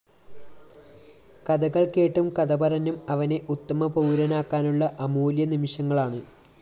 കഥകള്‍ കേട്ടും കഥ പറഞ്ഞും അവനെ ഉത്തമ പൗരനാക്കാനുള്ള അമൂല്യനിമിഷങ്ങളാണ്